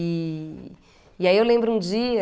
E e aí eu lembro um dia...